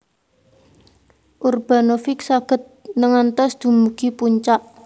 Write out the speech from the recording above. Urbanovic saged ngantos dumugi puncak